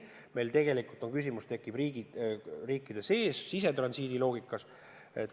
Meil tegelikult tekib küsimus sisetransiidi loogikas.